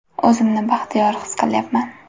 O‘zimni baxtiyor his qilyapman.